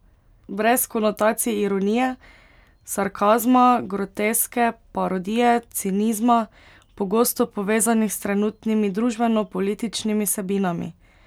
Brez konotacij ironije, sarkazma, groteske, parodije, cinizma, pogosto povezanih s trenutnimi družbenopolitičnimi vsebinami?